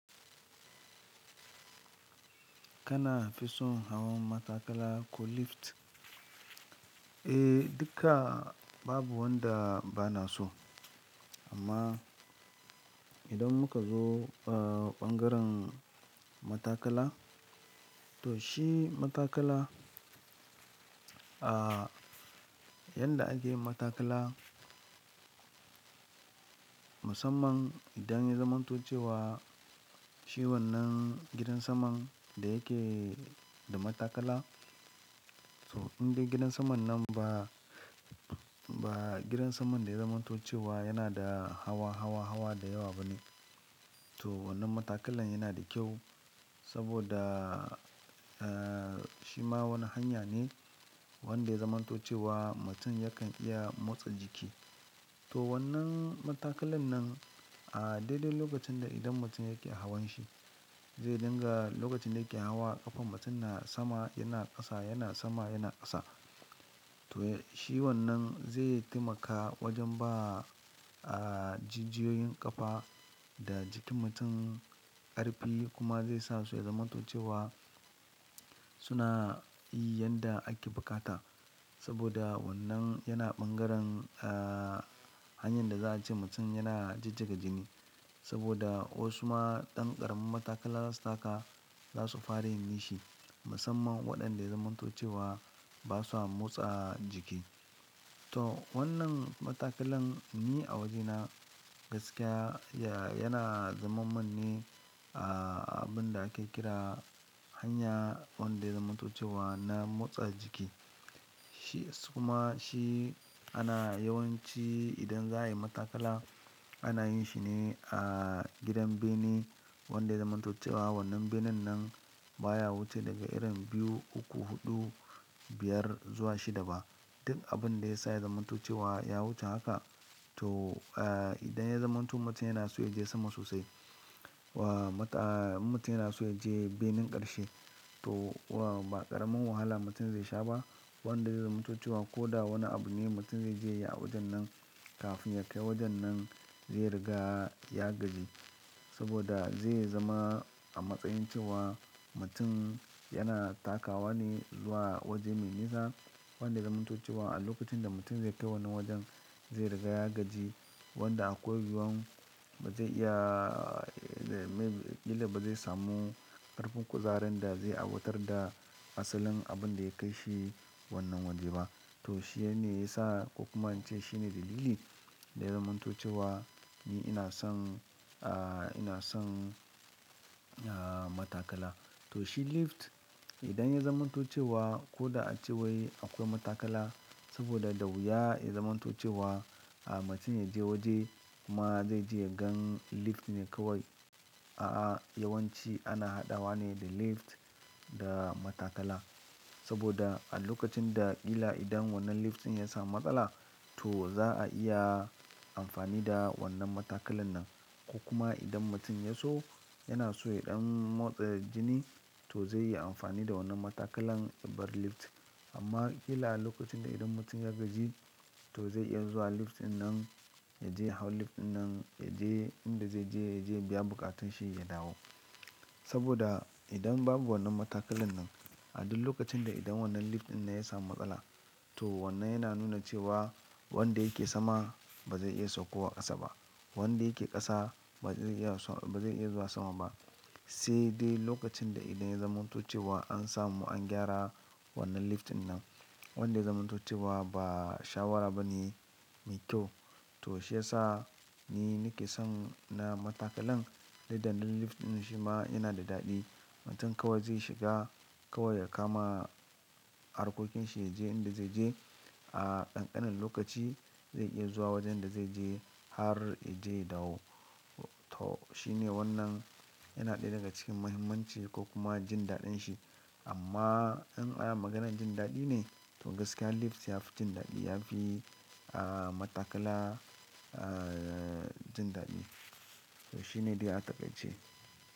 Kana fi son hawan matakala ko lift? Eh, duka babu wanda bana so. Amma idan muka zo, ah, bangaren matakala to shi matakala, ah, yadda ake matakala musamman idan ya zamanto cewa shewan nan gidan saman da yake da matakala. To in dai gidan saman nan ba, ba gidan saman da ya zamanto cewa yana da hawa, hawa, hawa da yawa bane. To wannan matakalan yana da kyau saboda, ah, shi ma wani hanya ne wanda ya zamanto cewa mutum yakan iya motsa jiki. To wannan matakalan nan a daidai lokacin da idan mutum yake hawan shi zai dinga lokacin da yake hawa ƙafa mutum na sama yana ƙasa yana sama yana ƙasa. To shi wannan zai taimaka wajen ba, ah, jijiyoyin ƙafa da jikin mutum ƙarfi kuma zai sa su ya zamanto cewa suna yi yadda ake bukata. Saboda wannan yana bangaren, ah, hanyar da za a ce mutum yana jijjiga jini. Saboda wasu ma ɗan ƙarin matakala zasu taka za su fara yin nishi musamman waɗanda ya zamanto cewa ba sa motsa jiki. To wannan matakalan ni a wajena gaskiya ya, yana zaman manne, ah, abin da ake kira hanya wanda ya zamanto cewa na motsa jiki. Shi su kuma shi ana yawanci idan za a yi matakala ana yin shi ne a gidan bene wanda ya zamanto cewa wannan benen nan baya wuce daga irin biyu, uku, huɗu, biyar zuwa shida ba. Duk abin da ya sa ya zamanto cewa ya wuce haka to, ah, idan ya zamanto mutum yana so ya je sama sosai wa mata-- mutum yana so ya je benen ƙarshe to wa ba ƙaramin wahala mutum zai sha ba. Wanda ya zamanto cewa ko da wane abu ne mutum zai je ya yi a wajen nan kafin ya kai wajen nan zai riga ya gaji. Saboda zai zama a matsayin cewa mutum yana takawa ne zuwa waje mai nisa wanda ya zamanto cewa a lokacin da mutum zai kai wannan wajen zai riga ya gaji wanda a akwai yuwan ba zai iya, me, ƙila ba zai samu ƙarfin kuzarin da zai awoatar da asalin abin da ya kai shi wannan waje ba. To shi ya ne ya sa ko kuma in ce shi ne dalili da ya zamanto cewa ni ina son, ah, ina son, ah, matakala. To shi lift idan ya zamanto cewa ko da a cewai akwai matakala saboda dawuya ya zamanto cewa, ah, mutum ya je waje kuma zai je ya gan lift ne kawai. A'a, yawanci ana haɗa wa ne da lift da matakala. Saboda a lokacin da ƙila idan wannan lift ɗin ya samu matsala to za a iya amfani da wannan matakalan nan. Ko kuma idan mutum ya so yana so ya ɗan motsa jini to zai yi amfani da wannan matakalan yabar lift. Amma ƙila a lokacin da idan mutum ya gaji to zai iya zuwa lift ɗinnan ya je hau lift ɗinnan ya je inda zai je ya je ya biya buƙatunshi ya dawo. Saboda idan babu wannan matakalan nan a duk lokacin da idan wannan lift ɗinnan ya samu matsala to wannan yana nuna cewa wanda yake sama ba zai iya saukowa ƙasa ba. Wanda yake ƙasa ba zai iya sau-- ba zai iya zuwa sama ba. Sai dai lokacin da idan ya zamanto cewa an samu an gyara wannan lift ɗinnan wanda ya zamanto cewa ba shawara ba ne miƙyau. To shi ya sa ni nake son na matakalan didda na lift ɗin shi ma yana da daɗi. Mutum kawai zai shiga kawai ya kama harkokin shi ya je inda zai je a kankanin lokaci zai iya zuwa wajen da zai je har ya je dawo. To shi ne wannan yana ɗaya daga cikin muhimmanci ko kuma jin daɗin shi. Amma in a yi maganar jin daɗi ne to gaskiya lift ya fi jin daɗi, ya fi, ah, matakala, ah, jin daɗi. To shi ne dd a takaice.